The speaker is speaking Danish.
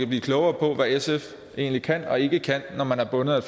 blive klogere på hvad sf egentlig kan og ikke kan når man er bundet af